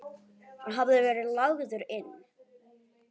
Hann hafði verið lagður inn.